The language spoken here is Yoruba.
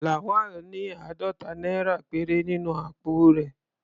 Lawal ní àádọ́ta náírà péré nínú àpò rẹ̀.